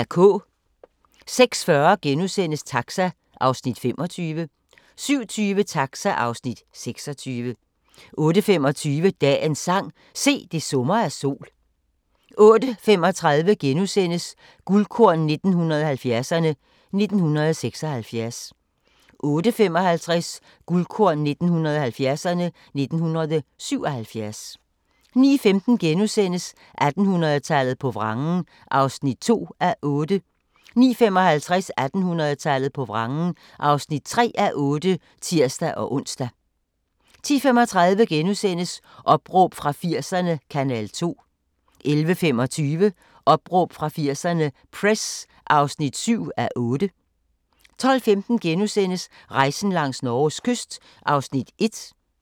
06:40: Taxa (Afs. 25)* 07:20: Taxa (Afs. 26) 08:25: Dagens sang: Se, det summer af sol 08:35: Guldkorn 1970'erne: 1976 * 08:55: Guldkorn 1970'erne: 1977 09:15: 1800-tallet på vrangen (2:8)* 09:55: 1800-tallet på vrangen (3:8)(tir-ons) 10:35: Opråb fra 80'erne – Kanal 2 (6:8)* 11:25: Opråb fra 80'erne – Press (7:8) 12:15: Rejsen langs Norges kyst (1:10)*